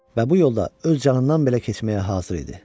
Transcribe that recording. Və bu yolda öz canından belə keçməyə hazır idi.